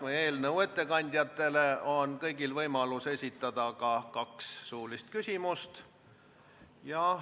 Selle eelnõu ettekandjatele on kõigil võimalus esitada ka kaks suulist küsimust.